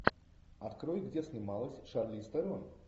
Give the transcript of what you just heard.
открой где снималась шарлиз терон